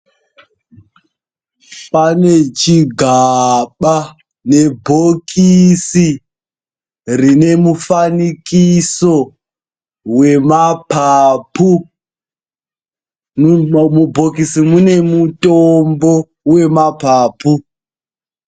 Pane chigaba nebhokisi rine mufanikiso wemapapu, mubhokisi mune mutombo wemapapu.